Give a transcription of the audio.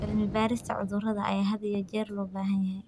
Cilmi-baarista cudurrada ayaa had iyo jeer loo baahan yahay.